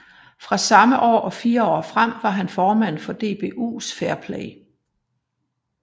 Fra samme år og fire år frem var han formand for DBUs Fair Play